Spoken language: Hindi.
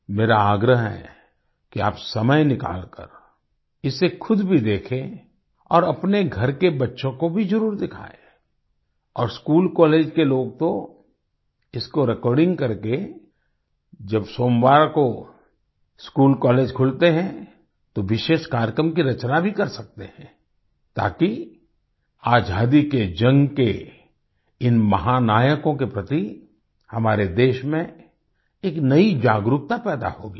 मेरा आग्रह है कि आप समय निकालकर इसे खुद भी देखेँ और अपने घर के बच्चों को भी जरुर दिखाएं और स्कूलकॉलेज के लोग तो इसको रिकॉर्डिंग करके जब सोमवार को स्कूलकॉलेज खुलते हैं तो विशेष कार्यक्रम की रचना भी कर सकते हैं ताकि आजादी के जन्म के इन महानायकों के प्रति हमारे देश में एक नई जागरूकता पैदा होगी